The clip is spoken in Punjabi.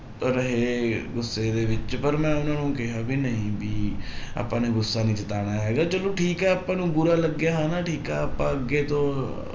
ਤਾਂ ਰਹੇ ਗੁੱਸੇ ਦੇ ਵਿੱਚ ਪਰ ਮੈਂ ਉਹਨਾਂ ਨੂੰ ਕਿਹਾ ਵੀ ਨਹੀਂ ਵੀ ਆਪਾਂ ਨੇ ਗੁੱਸਾ ਨੀ ਜਿਤਾਉਣਾ ਹੈਗਾ ਚਲੋ ਠੀਕ ਹੈ ਆਪਾਂ ਨੂੰ ਬੁਰਾ ਲੱਗਿਆ ਹਨਾ ਠੀਕ ਹੈ ਆਪਾਂ ਅੱਗੇ ਤੋਂ